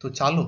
તો ચાલો